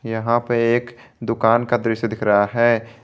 यहां पे एक दुकान का दृश्य दिख रहा है।